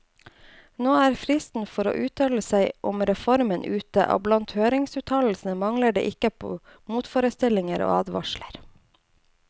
Nå er fristen for å uttale seg om reformen ute, og blant høringsuttalelsene mangler det ikke på motforestillinger og advarsler.